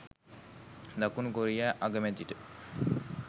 දකුණු කොරියා අගමැතිට